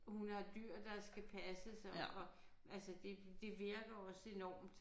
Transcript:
Hun har dyr der skal passes og og altså det det virker også enormt